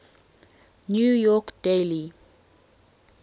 new york daily